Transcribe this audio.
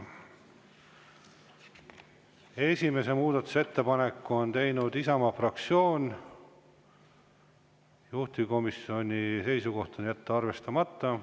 Esimese muudatusettepaneku on teinud Isamaa fraktsioon, juhtivkomisjoni seisukoht on jätta arvestamata.